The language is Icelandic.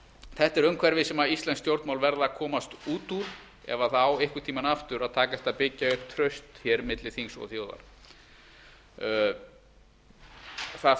þetta er umhverfi sem íslensk stjórnmál verða að komast út úr ef það á einhvern tíma aftur að takast að byggja upp traust milli þings og þjóðar það